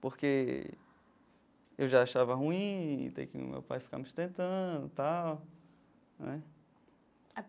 Porque eu já achava ruim ter que o meu pai ficar me sustentando e tal, né.